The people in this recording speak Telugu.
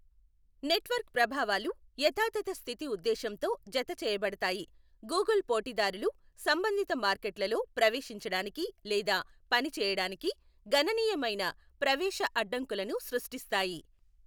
నెట్వర్క్ ప్రభావాలు, యథాతథ స్థితి ఉద్దేశంతో జత చేయబడతాయి, గూగుల్ పోటీదారులు సంబంధిత మార్కెట్లలో ప్రవేశించడానికి లేదా పనిచేయడానికి గణనీయమైన ప్రవేశ అడ్డంకులను సృష్టిస్తాయి.